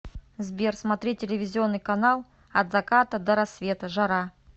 сбер смотреть телевизионный канал от заката до рассвета жара